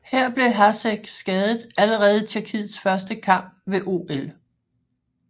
Her blev Hašek skadet allerede i Tjekkiets første kamp ved OL